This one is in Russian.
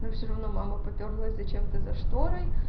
но всё равно мама попёрлась зачем то за шторой